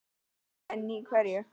En í hverju?